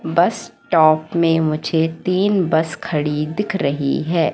बस स्टॉप में मुझे तीन बस खड़ी दिख रही है।